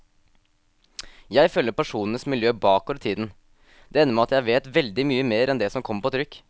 Jeg følger personenes miljø bakover i tiden, det ender med at jeg vet veldig mye mer enn det som kommer på trykk.